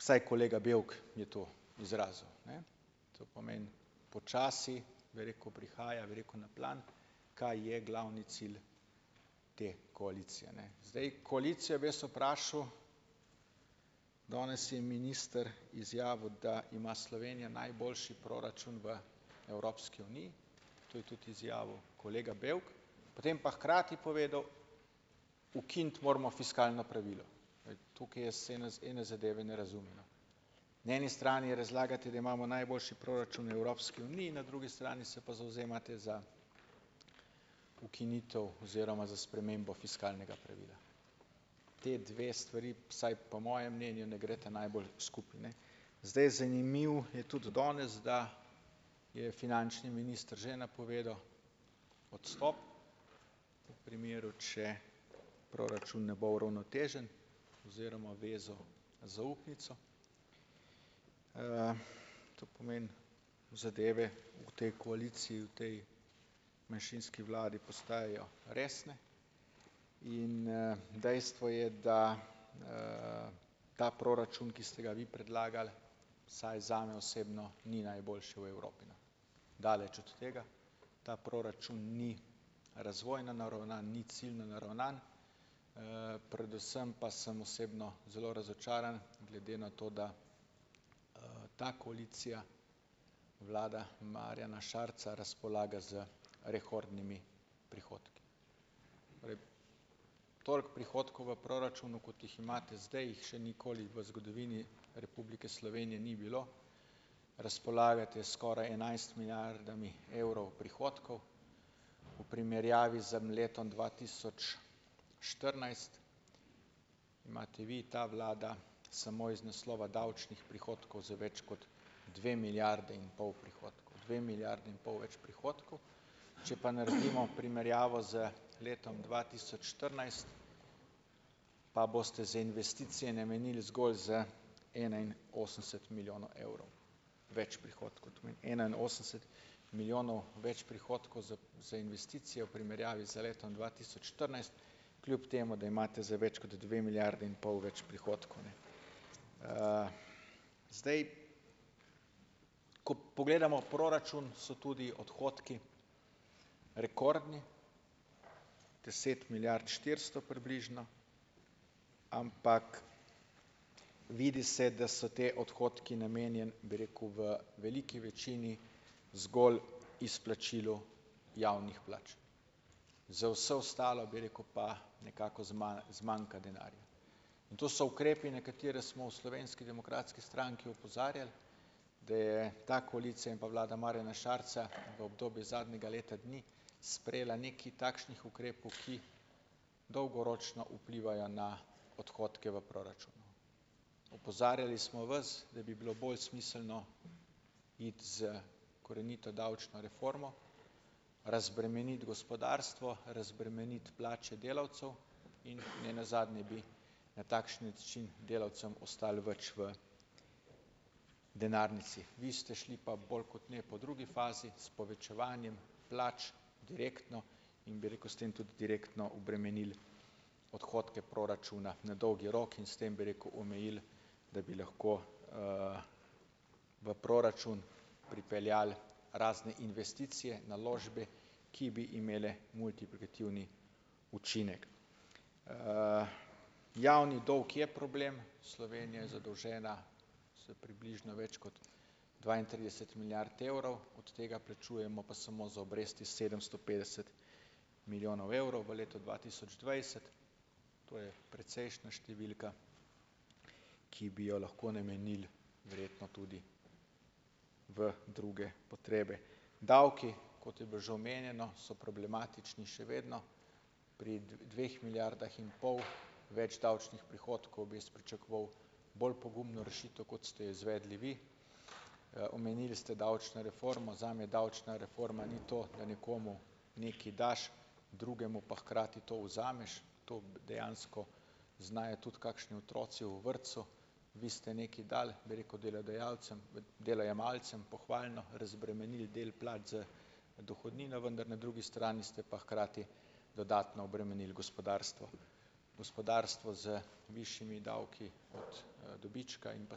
ukinitev, saj kolega Bevk je to izrazil, ne, to pomeni počasi, bi rekel, prihaja, bi rekel, na plan, kaj je glavni cilj te koalicije, ne, zdaj koalicija bi jaz vprašal, danes je minister izjavil, da ima Slovenija najboljši proračun v Evropski uniji, to je tudi izjavil kolega Bevk, potem pa hkrati povedal: "Ukiniti moramo fiskalno pravilo." Tukaj jaz ene ene zadeve ne razumem, no, na eni strani razlagate, da imamo najboljši proračun v Evropski uniji, na drugi strani se pa zavzemate za ukinitev oziroma za spremembo fiskalnega pravila, te dve stvari vsaj po mojem mnenju ne gresta najbolj skupaj, ne, zdaj, zanimivo je tudi danes, da je finančni minister že napovedal odstop v primeru, če proračun ne bo uravnotežen oziroma vezal zaupnico, to pomeni zadeve v tej koaliciji, v tej manjšinski vladi postajajo resne in, dejstvo je, da ta proračun, ki ste ga vi predlagali, vsaj zame osebno ni najboljši v Evropi, daleč od tega, ta proračun ni razvojno naravnan, ni ciljno naravnan, predvsem pa sem osebno zelo razočaran glede na to, da, ta koalicija vlada Marjana Šarca razpolaga z rekordnimi prihodki, toliko prihodkov v proračunu, kot jih imate zdaj, jih še nikoli v zgodovini Republike Slovenije ni bilo, razpolagate skoraj enajst milijardami evrov prihodkov, v primerjavi z letom dva tisoč štirinajst imate vi, ta vlada, samo iz naslova davčnih prihodkov za več kot dve milijardi in pol prihodkov dve milijardi in pol več prihodkov, če pa naredimo primerjavo z letom dva tisoč štirinajst, pa boste za investicije namenili zgolj z enainosemdeset milijonov evrov več prihodkov, to pomeni enainosemdeset milijonov več prihodkov za za investicijo v primerjavi z letom dva tisoč štirinajst, kljub temu da imate zdaj več kot dve milijardi in pol več prihodkov, ne, zdaj, ko pogledamo proračun, so tudi odhodki rekordni, deset milijard štiristo približno, ampak vidi se, da so ti odhodki namenjeni, bi rekel, v veliki večini zgolj izplačilu javnih plač, za vse ostalo, bi rekel, pa nekako zmanjka denarja in to so ukrepi, na katere smo v Slovenski demokratski stranki opozarjali, da je ta koalicija in pa vlada Marjana Šarca v obdobju zadnjega leta dni sprejela nekaj takšnih ukrepov, ki dolgoročno vplivajo na odhodke v proračun, opozarjali smo vas, da bi bilo bolj smiselno iti z korenito davčno reformo razbremeniti gospodarstvo, razbremeniti plače delavcev in nenazadnje bi na takšen način delavcem ostalo več v denarnici, vi ste šli pa bolj kot ne po drugi fazi s povečevanjem plač direktno, in, bi rekel, s tem tudi direktno obremenili odhodke proračuna na dolgi rok in s tem, bi rekel, omejili da bi lahko, v proračun pripeljali razne investicije naložbe, ki bi imele multiplikativni učinek, javni dolg je problem, Slovenija je zadolžena za približno več kot dvaintrideset milijard evrov, od tega plačujemo pa samo za obresti sedemsto petdeset milijonov evrov v letu dva tisoč dvajset, to je precejšnja številka, ki bi jo lahko namenili verjetno tudi v druge potrebe, davki, kot je bilo že omenjeno, so problematični in še vedno pri dveh milijardah in pol več davčnih prihodkov bi jaz pričakoval bolj pogumno rešitev, kot ste jo izvedli vi, omenili ste davčno reformo, zame davčna reforma ni to, da nekomu nekaj daš, drugemu pa hkrati to vzameš, to dejansko znajo tudi kakšni otroci v vrtcu, vi ste nekaj dali, bi rekel, delodajalcem, delojemalcem pohvalno razbremenili del plač z dohodnino, vendar na drugi strani ste pa hkrati dodatno obremenili gospodarstvo, gospodarstvo z višjimi davki od, dobička in pa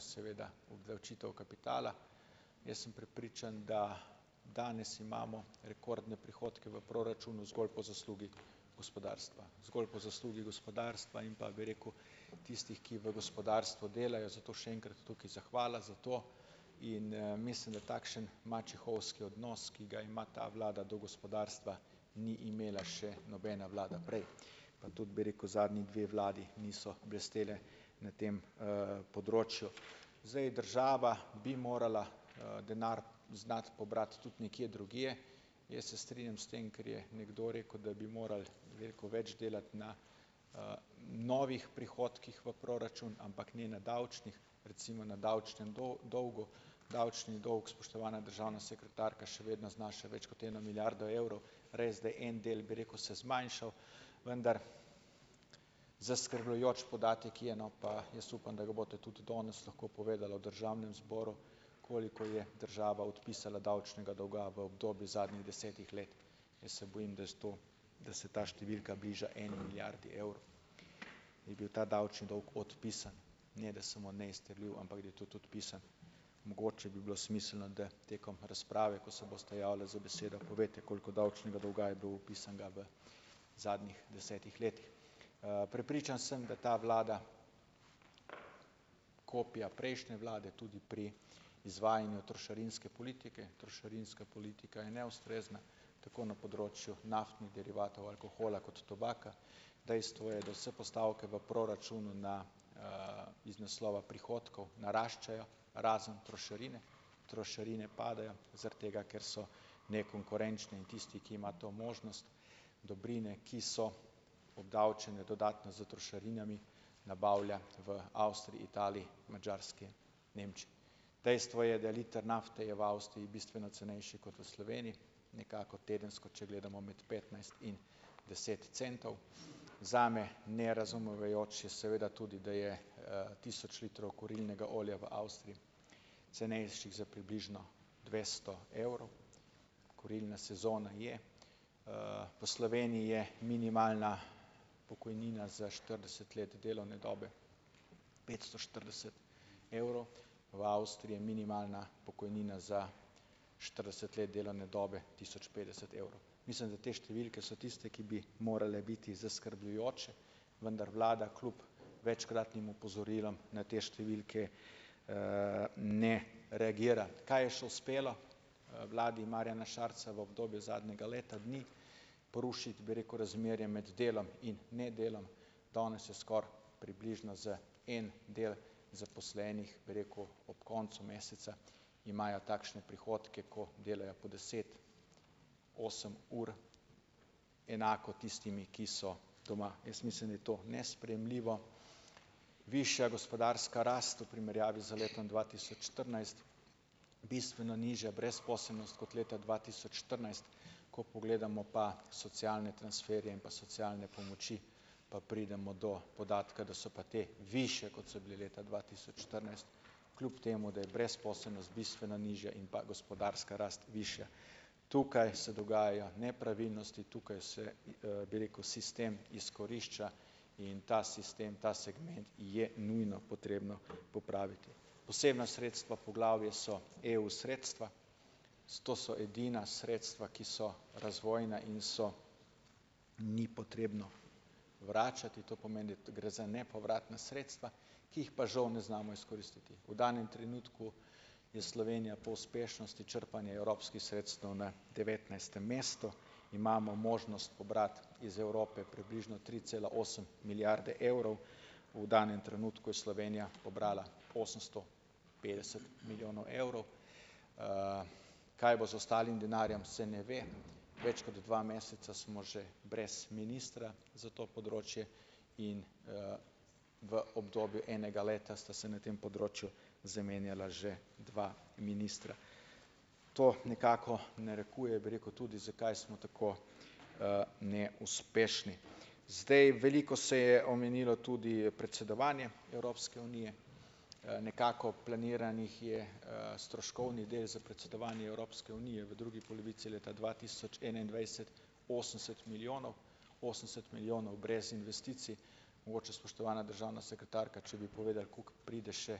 seveda obdavčitev kapitala, jaz sem prepričan, da danes imamo rekordne prihodke v proračunu zgolj po zaslugi gospodarstva, zgolj po zaslugi gospodarstva, in pa bi rekel tistih, ki v gospodarstvu delajo, zato še enkrat tukaj zahvala za to in, mislim, da takšen mačehovski odnos, ki ga ima ta vlada do gospodarstva, ni imela še nobena vlada prej pa tudi, bi rekel, zadnji dve vladi nista blesteli na tem, področju, zdaj, država bi morala, denar znati pobrati tudi nekje drugje jaz se strinjam s tem, kar je nekdo rekel, da bi morali veliko več delati na, novih prihodkih v proračun, ampak ne na davčnih, recimo na davčnem dolgu, davčni dolg, spoštovana državna sekretarka, še vedno znaša več kot eno milijardo evrov, res da je en del, bi rekel, se zmanjšal vendar zaskrbljujoč podatek je, no, pa jaz upam, da ga boste tudi danes lahko povedali v državnem zboru, koliko je država odpisala davčnega dolga v obdobju zadnjih desetih let, jaz se bojim, da s to, da se ta številka bliža eni milijardi evrov, je bil ta davčni dolg odpisan, ne da samo neizterljiv, ampak da je tudi odpisan, mogoče bi bilo smiselno, da tekom razprave, ko se boste javile za besedo, povejte, koliko davčnega dolga je bilo odpisanega v zadnjih desetih letih, prepričan sem, da ta vlada kopija prejšnje vlade tudi pri izvajanju trošarinske politike, trošarinska politika je neustrezna tako na področju naftnih derivatov, alkohola kot tobaka, dejstvo je, da vse postavke v proračunu na, iz naslova prihodkov naraščajo razen trošarine, trošarine padajo zaradi tega, ker so nekonkurenčne, in tisti, ki ima to možnost, dobrine, ki so obdavčene dodatno s trošarinami, nabavlja v Avstriji, Italiji, Madžarski, dejstvo je, da liter nafte je v Avstriji bistveno cenejši kot v Sloveniji, nekako tedensko, če gledamo med petnajst in deset centov, zame nerazumevajoče je seveda tudi, da je, tisoč litrov kurilnega olja v Avstriji cenejši za približno dvesto evrov, kurilna sezona je, v Sloveniji je minimalna pokojnina za štirideset let delovne dobe petsto štirideset evrov, v Avstriji je minimalna pokojnina za štirideset let delovne dobe tisoč petdeset evrov, mislim, da te številke so tiste, ki bi morale biti zaskrbljujoče, vendar vlada kljub večkratnim opozorilom na te številke, ne reagira, kaj je še uspelo vladi Marjana Šarca v obdobju zadnjega leta dni porušiti, bi rekel, razmerje med delom in nedelom, danes je skoraj približno za en del zaposlenih, bi rekel, ob koncu meseca imajo takšne prihodke, ko delajo po deset, osem ur, enako tistimi, ki so doma, jaz mislim, da je to nesprejemljivo, višja gospodarska rast v primerjavi z letom dva tisoč štirinajst, bistveno nižja brezposelnost od leta dva tisoč štirinajst, ko pogledamo pa socialne transferje in pa socialne pomoči, pa pridemo do podatka, da so pa te višje, kot so bile leta dva tisoč štirinajst, kljub temu da je brezposelnost bistveno nižja in pa gospodarska rast višja, tukaj se dogajajo nepravilnosti, tukaj se, bi rekel, sistem izkorišča in ta sistem, ta segment je nujno potrebno popraviti, posebna sredstva po glavi so EU sredstva, sto so edina sredstva, ki so razvojna in so, ni potrebno vračati, to pomeni, gre za nepovratna sredstva, ki jih pa žal ne znamo izkoristiti, v danem trenutku je Slovenija po uspešnosti črpanja evropskih sredstev na devetnajstem mestu, imamo možnost pobrati iz Evrope približno tri cela osem milijarde evrov, v danem trenutku je Slovenija pobrala osemsto petdeset milijonov evrov, kaj bo z ostalim denarjem, se ne ve, več kot dva meseca smo že brez ministra za to področje in v obdobju enega leta sta se na tem področju zamenjala že dva ministra, to nekako narekuje, bi rekel, tudi, zakaj smo tako, neuspešni, zdaj, veliko se je omenilo tudi predsedovanje Evropske unije, nekako planiranih je, stroškovni del za predsedovanje Evropske unije v drugi polovici leta dva tisoč enaindvajset osemdeset milijonov, osemdeset milijonov brez investicij, mogoče, spoštovana državna sekretarka, če bi povedali, koliko pride še,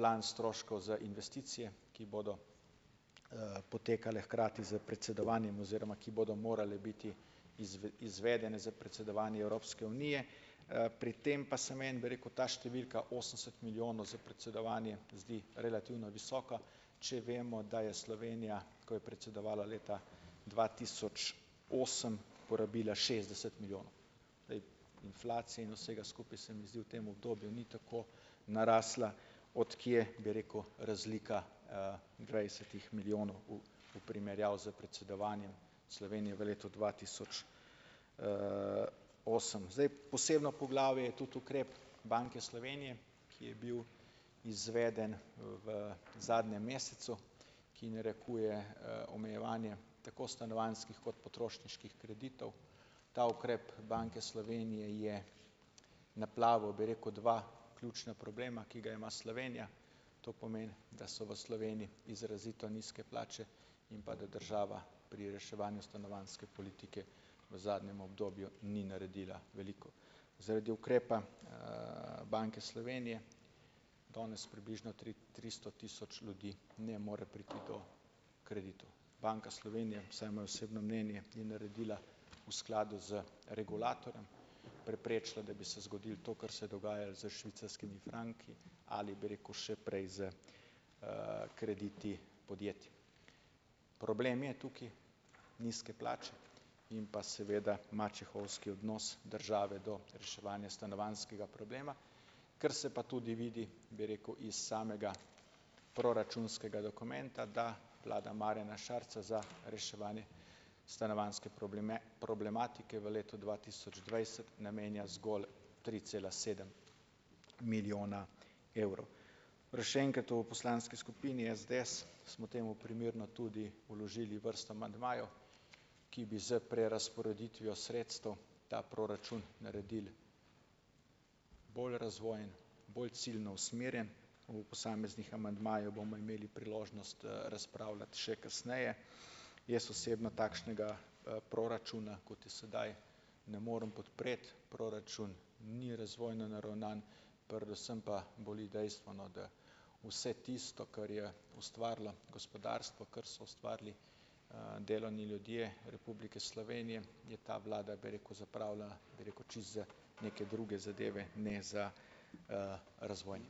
plan stroškov za investicije, ki bodo, potekale hkrati s predsedovanjem oziroma ki bodo morale biti izvedene za predsedovanje Evropske unije, pri tem pa sem en, bi rekel, ta številka osemdeset milijonov za predsedovanje zdi relativno visoka, če vemo, da je Slovenija, ko je predsedovala leta dva tisoč osem porabila šestdeset milijonov, glej, inflacija in vsega skupaj, se mi zdi, v tem obdobju ni tako narasla, od kje, bi rekel, razlika, dvajsetih milijonov v v primerjavi s predsedovanjem Slovenije v letu dva tisoč, osem, zdaj posebno poglavje je tudi ukrep Banke Slovenije, ki je bil izveden v zadnjem mesecu, ki narekuje, omejevanje tako stanovanjskih kot potrošniških kreditov, ta ukrep Banke Slovenije je naplavil, bi rekel, dva ključna problema, ki ju ima Slovenija, to pomeni, da so v Sloveniji izrazito nizke plače in pa da država pri reševanju stanovanjske politike v zadnjem obdobju ni naredila veliko, zaradi ukrepa, Banke Slovenije danes približno tri tristo tisoč ljudi ne more priti do kreditov, Banka Slovenije, vsaj moje osebno mnenje, je naredila v skladu z regulatorjem preprečilo, da bi se zgodilo to, kar se je dogajalo s švicarskimi franki ali, bi rekel, še prej s, krediti podjetij, problem je tukaj nizke plače in pa seveda mačehovski odnos države do reševanja stanovanjskega problema, ker se pa tudi vidi, bi rekel, iz samega proračunskega dokumenta, da vlada Marjana Šarca za reševanje stanovanjske problematike v letu dva tisoč dvajset namenja zgolj tri cela sedem milijona evrov, še enkrat, v poslanski skupini SDS smo temu primerno tudi vložili vrsto amandmajev, ki bi z prerazporeditvijo sredstev ta proračun naredili bolj razvojen, bolj ciljno usmerjen, o posameznih amandmajih bomo imeli priložnost, razpravljati še kasneje, jaz osebno takšnega, proračuna, kot je sedaj, ne morem podpreti, proračun ni razvojno naravnan, predvsem pa boli dejstvo, da vse tisto, kar je ustvarilo gospodarstvo, kar so ustvarili, delovni ljudje Republike Slovenije, je ta vlada, bi rekel, zapravila, bi rekel, če za neke druge zadeve, ne za, razvoj.